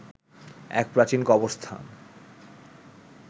এক প্রাচীন কবরস্থান